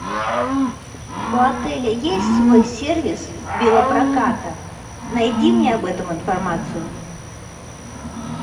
у отеля есть свой сервис велопроката найди мне об этом информацию